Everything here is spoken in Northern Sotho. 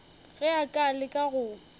ge a ka leka go